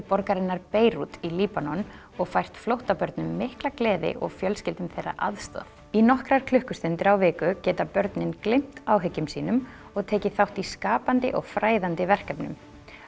borgarinnar Beirút í Líbanon og fært flóttabörnum mikla gleði og fjölskyldum þeirra aðstoð í nokkrar klukkustundir á viku geta börnin gleymt áhyggjum sínum og tekið þátt í skapandi og fræðandi verkefnum